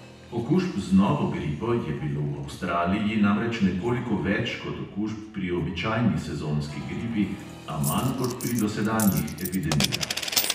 Okužb z novo gripo je bilo v avstraliji namreč nekoliko več kot okužb pri običajni sezonski gripi, a manj kot pri dosedanjih epidemijah.